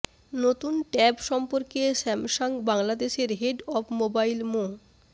নতুন ট্যাব সম্পর্কে স্যামসাং বাংলাদেশের হেড অব মোবাইল মো